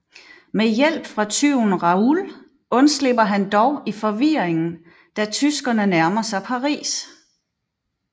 Med hjælp fra tyven Raoul undslipper han dog i forvirringen da tyskerne nærmer sig Paris